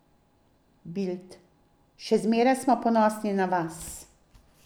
Bild: 'Še zmeraj smo ponosni na vas ...